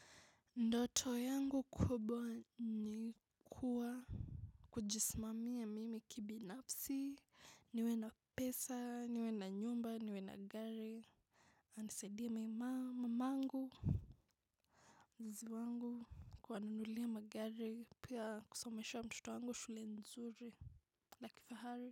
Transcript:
Ndoto yangu kubwa ni kuwa kujismamia mimi kibinafsi niwe na pesa niwe na nyumba niwe na gari nisaidie mama mamangu wazazi wangu kuwananulia magari pia kusomesha mtoto wangu shule nzuri la kifahari.